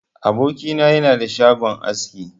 Aboki na yana da shagon aski.